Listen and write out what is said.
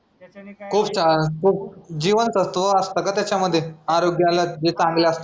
खूप सा खूप जीवनसत्व असतं का त्याच्यामध्ये आरोग्याला जे चांगलं असं